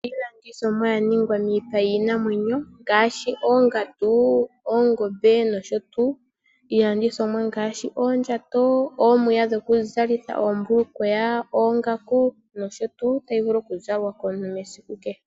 Iilandithomwa yaningwa miipa yiinamwenyo ngaashi oongandu, oongombe nosho tuu. Iilandithomwa ngaashi oondjato ominya dhoku zalitha oombulukweya, oongaku nosho tuu tayi vulu okuzalwa komuntu mesiku kehe.